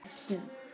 Sem er synd.